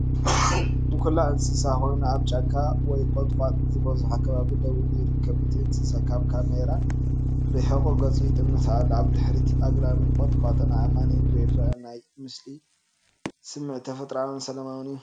ዱኩላ እንስሳ ኮይኑ፣ ኣብ ጫካ ወይ ቁጥቋጥ ዝበዝሖ ከባቢ ደው ኢሉ ይርከብ። እቲ እንስሳ ካብ ካሜራ ርሒቑ ገጹ ይጥምት ኣሎ። ኣብ ድሕሪት ኣግራብን ቁጥቋጥን ኣአማንን ይርአ። ናይቲ ምስሊ ስምዒትተፈጥሮኣውን ሰላማውን እዩ።